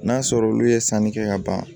N'a sɔrɔ olu ye sanni kɛ ka ban